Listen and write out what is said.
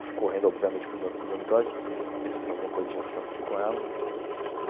Eu fui correndo, obviamente, para o dor para os dormitórios, pensando que alguma coisa tivesse acontecido com ela.